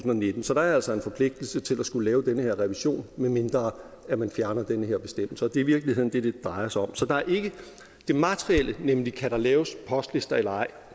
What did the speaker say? nitten så der er altså en forpligtelse til at skulle lave den her revision medmindre man man fjerner den her bestemmelse det er i virkeligheden det det drejer sig om så det materielle nemlig kan laves postlister eller ej